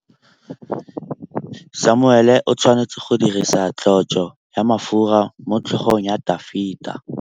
Samuele o tshwanetse go dirisa tlotsô ya mafura motlhôgong ya Dafita.